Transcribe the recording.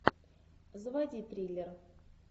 заводи триллер